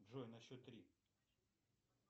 джой на счет три